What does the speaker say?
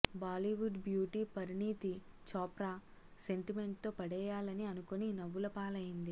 Bollywood beauty Parineeti Chopra sentiment తో పడేయాలని అనుకోని నవ్వులపాలైంది